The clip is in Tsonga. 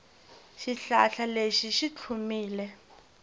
xihlahla lexi xi tlhumile